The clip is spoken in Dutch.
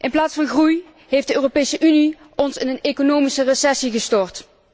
In plaats van groei heeft de Europese Unie ons in een economische recessie gestort.